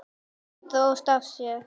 Þau drógust að þér.